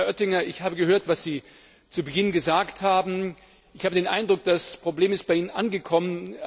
Herr Oettinger, ich habe gehört, was Sie zu Beginn gesagt haben, und ich habe den Eindruck, das Problem ist bei Ihnen angekommen.